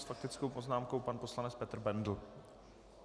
S faktickou poznámkou pan poslanec Petr Bendl.